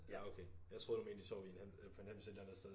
Ja okay jeg troede du mente i sov i en eller på en hems et eller andet sted